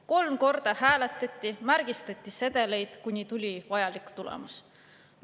Kolm korda hääletati, märgistati sedeleid, kuni tuli vajalik tulemus.